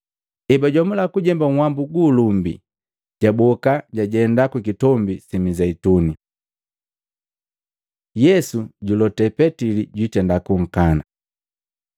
Ebajomula kujemba nhwambu gu ulumbi, jaboka jajenda ku Kitombi si Mizeituni. Yesu julote Petili jwiitenda kunkana Maluko 14:27-31; Luka 22:31-34; Yohana 13:36-38